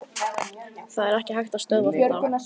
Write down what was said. Það er ekki hægt að stöðva þetta.